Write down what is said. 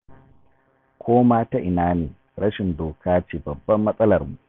Ko ma ta ina ne rashin doka ce babbar matsalarmu.